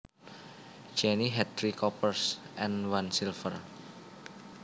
Jenny had three coppers and one silver